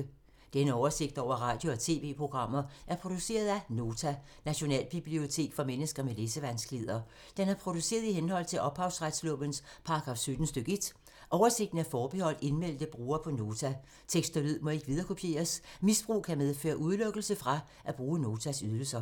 Denne oversigt over radio og TV-programmer er produceret af Nota, Nationalbibliotek for mennesker med læsevanskeligheder. Den er produceret i henhold til ophavsretslovens paragraf 17 stk. 1. Oversigten er forbeholdt indmeldte brugere på Nota. Tekst og lyd må ikke viderekopieres. Misbrug kan medføre udelukkelse fra at bruge Notas ydelser.